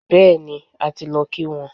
Bẹẹni, a ti lọ kí wọ́n